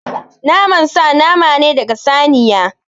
Naman sa nama ne daga saniya.